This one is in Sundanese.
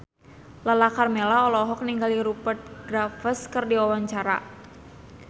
Lala Karmela olohok ningali Rupert Graves keur diwawancara